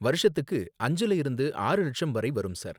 வருஷத்துக்கு அஞ்சுல இருந்து ஆறு லட்சம் வரை வரும், சார்